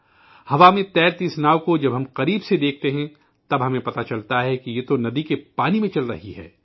ہوا میں تیرتی اس کشتی کو جب ہم قریب سے دیکھتے ہیں تو ہمیں پتہ چلتا ہے کہ یہ تو ندی کے پانی میں چل رہی ہے